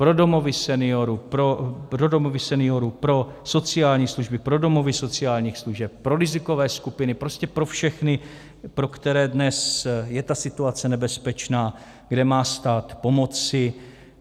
Pro domovy seniorů, pro sociální služby, pro domovy sociálních služeb, pro rizikové skupiny, prostě pro všechny, pro které dnes je ta situace nebezpečná, kde má stát pomoci.